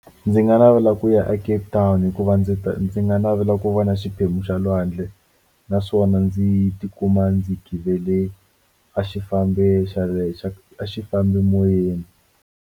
Ndzi nga navela ku ya a Cape Town hikuva ndzi ta ndzi nga navela ku va na xiphemu xa lwandle naswona ndzi tikuma ndzi givele a xi fambe xa le a xifambimoyeni.